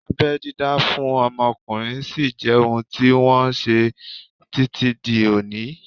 Abẹ́ dídá fún ọmọkùnrin sí jẹ́ ohun tí wọ́n ṣe títí di òní yìí